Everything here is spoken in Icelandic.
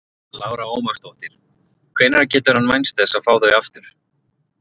Lára Ómarsdóttir: Hvenær getur hann vænst þess að fá þau aftur?